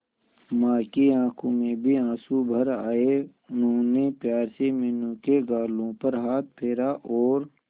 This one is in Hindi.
मां की आंखों में भी आंसू भर आए उन्होंने प्यार से मीनू के गालों पर हाथ फेरा और